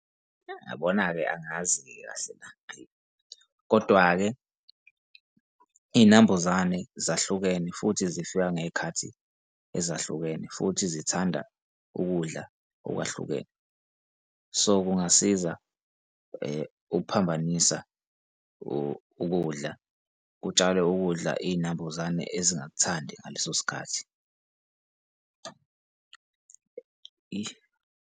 Uyabona-ke angazi-ke kahle la, hhayi. Kodwa-ke iy'nambuzane zahlukene futhi zihluke ngey'khathi ezahlukene futhi zithanda ukudla okwahlukene. So, kungasiza ukuphambanisa ukudla kutshalwe ukudla iy'nambuzane ezingakuthandi ngaleso sikhathi.